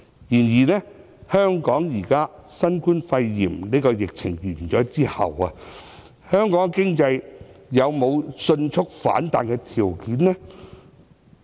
然而，新冠肺炎疫情結束後，香港的經濟有沒有迅速反彈的條件？